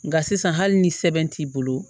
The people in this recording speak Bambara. Nka sisan hali ni sɛbɛn t'i bolo